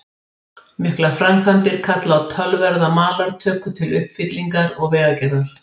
Miklar framkvæmdir kalla á töluverða malartöku til uppfyllingar og vegagerðar.